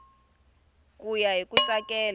ku ya hi ku tsakela